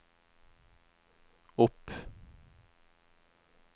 opp